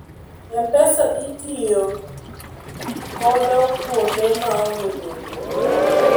m-pesa itiyo kodo kuonde maonge benge